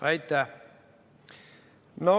Aitäh!